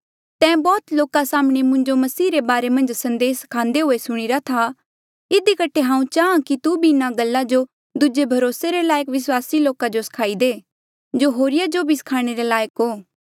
तैं बौह्त लोका साम्हणें मुंजो मसीह रे बारे मन्झ संदेस स्खान्दे हुए सुणीरा था इधी कठे हांऊँ चाहां कि तू भी इन्हा गल्ला जो दूजे भरोसे रे लायक विस्वासी लोका जो सखाई दे जो होरिया जो भी स्खाणे रे लायक हो